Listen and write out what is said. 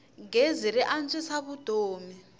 gezi ri antswisa vutomi